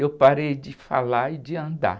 Eu parei de falar e de andar.